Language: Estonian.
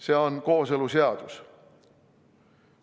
See on kooseluseadus.